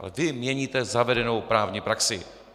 Ale vy měníte zavedenou právní praxi.